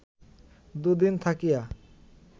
দুদিন থাকিয়া